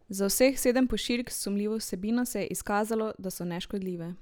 Za vseh sedem pošiljk s sumljivo vsebino se je izkazalo, da so neškodljive.